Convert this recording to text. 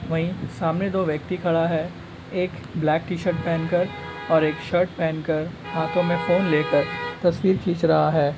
वहीं सामने दो व्यक्ति खड़ा है। एक ब्लैक टी-शर्ट पहनकर और एक शर्ट पहनकर हाथों में फोन लेकर तस्वीर खींच रहा है।